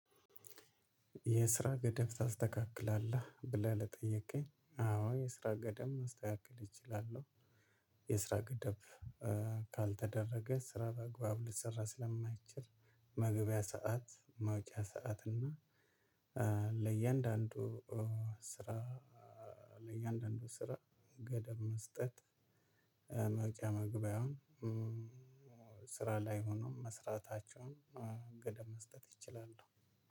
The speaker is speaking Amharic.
የስራ ገደብ ታስተካክላለህ ብለህ ለጠየቅኸኝ አዎ የስራ ገደብ ማስተካከል እችላለሁ። የስራ ገደብ ካልተደረገ ስራ በአግባብ ሊሰራ ስለማይችል። መግቢያ ሰዓት መውጫ ሰዓት እና ለእያንዳንዱ ስራ ለእያንዳንዱ ስራ ገደብ መስጠት። መውጫ መግቢያውን ስራ ላይ ሆኖ መስራታቸውን። ገደብ መስጠት ይችላሉ።